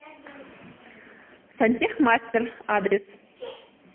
сантехмастер адрес